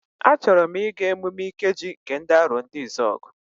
A chọrọ m ịga emume Ikeji nke ndị Arondizuogu.